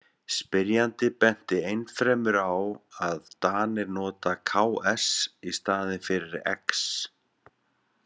Spyrjandi benti ennfremur á að Danir nota ks í staðinn fyrir x.